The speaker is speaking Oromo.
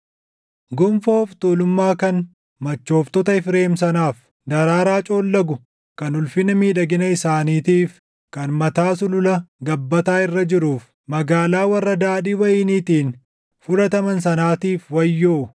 Gonfoo of tuulummaa kan machooftota Efreem sanaaf, daraaraa coollagu kan ulfina miidhagina isaaniitiif, kan mataa sulula gabbataa irra jiruuf, magaalaa warra daadhii wayiniitiin fudhataman // sanaatiif wayyoo!